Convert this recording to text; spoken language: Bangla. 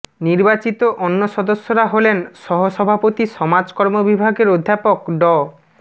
নির্বাচিত অন্য সদস্যরা হলেন সহসভাপতি সমাজকর্ম বিভাগের অধ্যাপক ড